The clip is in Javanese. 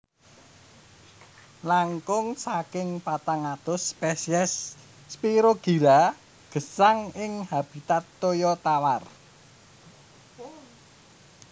Langkung saking patang atus spèsiès Spirogyra gesang ing habitat toya tawar